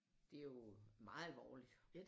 Det er jo meget alvorligt